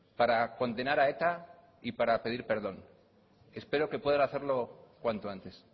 para condenar a eta y para pedir perdón espero que puedan hacerlo cuanto antes